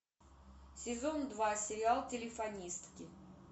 сезон два сериал телефонистки